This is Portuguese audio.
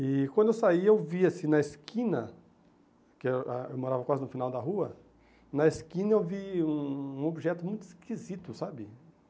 E quando eu saí, eu vi assim na esquina, porque eu ah morava quase no final da rua, na esquina eu vi um um objeto muito esquisito, sabe?